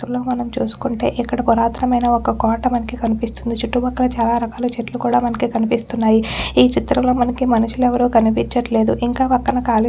ఈ చిత్రం లో మనం చూసుకుంటే ఇక్కడ పురాతనమైన ఒక్క కోట మనకి కనిపిస్తుంది చుట్టు పక్కల చాలా రకాలు చెట్లు కూడా మనకి కనిపిస్తున్నాయి ఈ చిత్రం లో మనకి మనుషులు ఎవ్వరూ కనిపించట్లేదు ఇంక పక్కన కాలి --